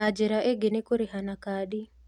Na njĩra ĩngĩ nĩ kũrĩha na kandi